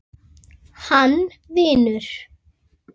Hann vinur.